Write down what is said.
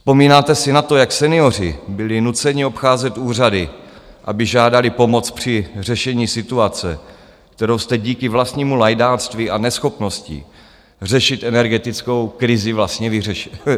Vzpomínáte si na to, jak senioři byli nuceni obcházet úřady, aby žádali pomoc při řešení situace, kterou jste díky vlastnímu lajdáctví a neschopnosti řešit energetickou krizi vlastně vytvořili?